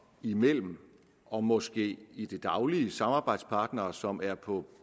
imellem og måske i det daglige samarbejdspartnere som er på